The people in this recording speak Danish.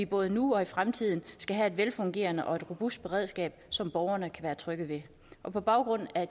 både nu og i fremtiden er et velfungerende og robust beredskab som borgerne kan være trygge ved på baggrund af